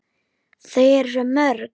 Þau eru svo mörg.